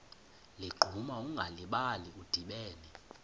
ligquma ungalibali udibene